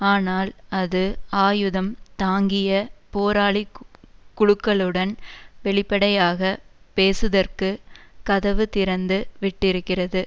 ஆனால் அது ஆயுதம் தாங்கிய போராளி குழுக்களுடன் வெளிப்படையாக பேசுதற்கு கதவு திறந்து விட்டிருக்கிறது